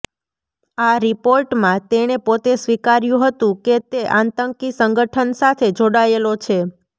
આ રિપોર્ટમાં તેણે પોતે સ્વીકાર્યું હતું કે તે આતંકી સંગઠન સાથે જોડાયેલો છે